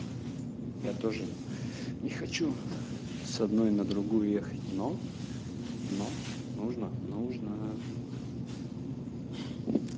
я тоже не хочу с одной на другую ехать но но нужно нужно